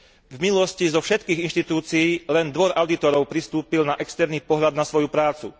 V minulosti zo všetkých inštitúcií len Dvor audítorov pristúpil na externý pohľad na svoju prácu.